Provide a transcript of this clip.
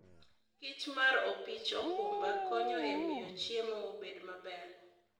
kichmar opich okumba konyo e miyo chiemo obed maber.